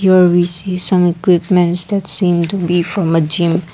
there we see some equipments that seem to be from a gym.